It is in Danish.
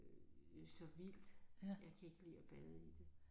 Øh så vildt jeg kan ikke lide at bade i det